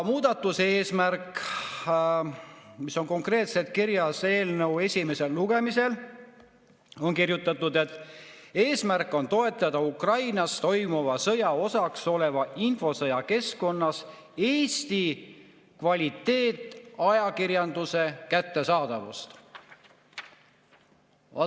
Muudatuse eesmärk, mis on konkreetselt kirjas eelnõu, on toetada Ukrainas toimuva sõja osaks oleva infosõja keskkonnas Eesti kvaliteetajakirjanduse kättesaadavust.